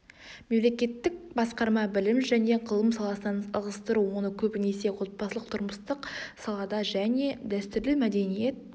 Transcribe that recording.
мемлекеттік басқарма білім және ғылым саласынан ығыстыру оны көбінесе отбасылық тұрмыстық салада және дәстүрлі мәдениет